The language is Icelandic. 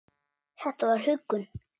Þetta var huggun.